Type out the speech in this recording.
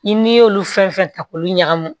I n'i y'olu fɛn fɛn ta k'olu ɲagami